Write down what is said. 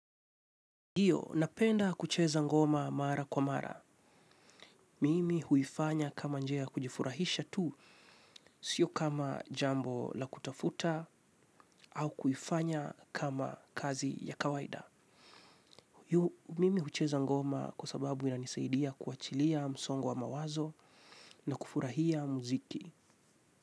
Iyo, napenda kucheza ngoma mara kwa mara. Mimi huifanya kama njia ya kujifurahisha tu, sio kama jambo la kutafuta au kuifanya kama kazi ya kawaida. Mimi hucheza ngoma kwa sababu inanisaidia kuachilia msongo wa mawazo na kufurahia mziki.